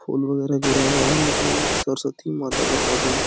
फूल वगैरह गिरा हुआ है लग रहा है सरस्वती माता का फोटो है ।